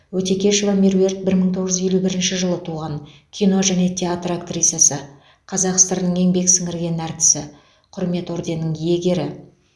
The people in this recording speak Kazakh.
өтекешова меруерт бір мың тоғыз жүз елу бірінші жылы туған кино және театр актрисасы қазақ сср інің еңбек сіңірген артисі құрмет орденінің иегері